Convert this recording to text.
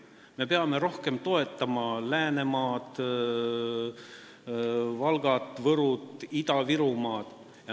Me peame rohkem toetama Läänemaad, Valgamaad, Võrumaad, Ida-Virumaad.